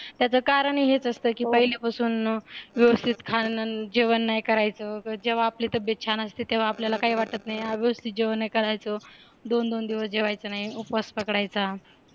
त्याचं कारण हेच असतं की पहिल्यापासून व्यवस्थित खाणं जेवण नाही करायचं जेव्हा आपली तब्येत छान असते तेव्हा आपल्याला काय वाटत नाही हा व्यवस्थित जेवण करायचं दोन दोन दिवस जेवायचं नाही उपवास पकडायचा